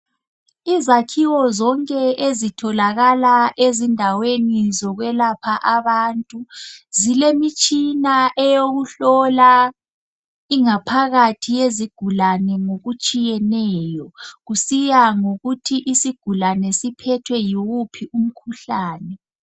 Izakhiwo zonke ezitholakala ezindaweni zokwelapha abantu. Zilemitshina eyokuhlola ingaphakathi yezigulane ngokutshiyeneyo, kusiya ngokuthi isigulane siphethwe yiwuphi umkhuhlane.